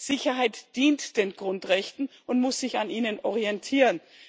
Sicherheit dient den Grundrechten und muss sich an ihnen orientieren.